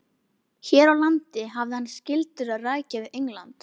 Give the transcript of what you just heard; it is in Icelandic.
Hér á landi hafði hann skyldur að rækja við England.